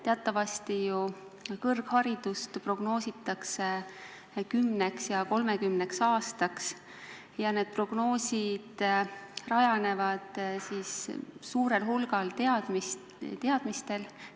Teatavasti ju kõrgharidust prognoositakse 10 ja 30 aastaks ning need prognoosid rajanevad suurel hulgal teadmistel.